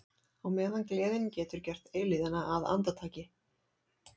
Á meðan gleðin getur gert eilífðina að andartaki.